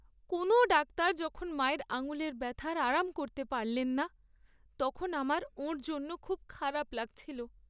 কোনও ডাক্তার যখন মায়ের আঙুলের ব্যথার আরাম করতে পারলেন না, তখন আমার ওঁর জন্য খুব খারাপ লাগছিল।